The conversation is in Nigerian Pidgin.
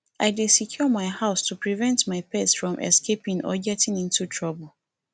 i dey secure my house to prevent my pet from escaping or getting into trouble